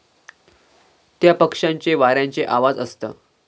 त्या पक्षांचे वाऱ्यांचे आवाजअसत